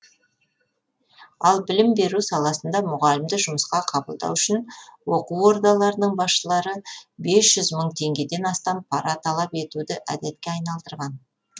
ал білім беру саласында мұғалімді жұмысқа қабылдау үшін оқу ордаларының басшылары бес жүз мың теңгеден астам пара талап етуді әдетке айналдырған